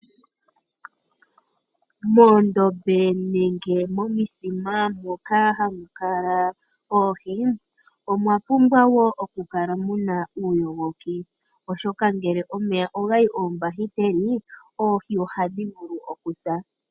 Moondombe nenge momithima moka hamu kala oohi omwa pumbwa wo okukala muna uuyogoki oshoka ,ngele omeya oga yi oombakiteli oohi ohadhi vulu okusa.